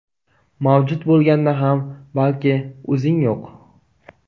Mavjud bo‘lganda ham balki o‘zing yo‘q.